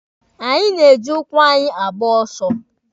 Anyị na-eji ụkwụ anyị agba ọsọ.